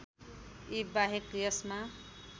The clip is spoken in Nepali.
यी बाहेक यसमा